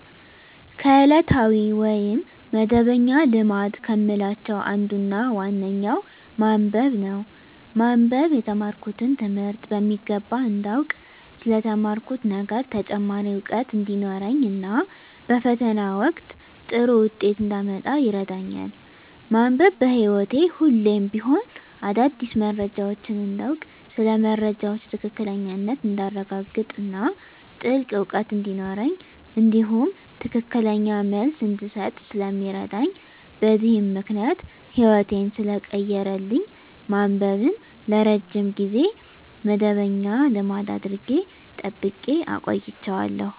ከዕለታዊ ወይም መደበኛ ልማድ ከምላቸው አንዱና ዋነኛው ማንበብ ነው። ማንበብ የተማርኩትን ትምህርት በሚገባ እንዳውቅ ስለ ተማርኩት ነገር ተጨማሪ እውቀት እንዲኖረኝ እና በፈተና ወቅት ጥሩ ውጤት እንዳመጣ ይረዳኛል። ማንበብ በህይወቴ ሁሌም ቢሆን አዳዲስ መረጃዎችን እንዳውቅ ስለ መረጃዎች ትክክለኛነት እንዳረጋግጥ እና ጥልቅ እውቀት እንዲኖረኝ እንዲሁም ትክክለኛ መልስ እንድሰጥ ስለሚረዳኝ በዚህም ምክንያት ህይወቴን ሰለቀየረልኝ ማንበብን ለረጅም ጊዜ መደበኛ ልማድ አድርጌ ጠብቄ አቆይቸዋለሁ።